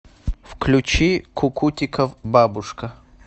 включи кукутиков бабушка